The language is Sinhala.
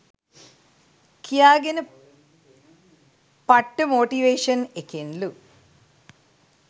කියා ගෙන පට්ට මොටිවේෂන් එකෙන් ලු.